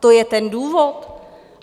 To je ten důvod?